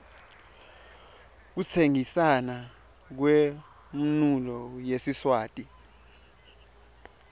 kutsengisna kwemounulo yesiswati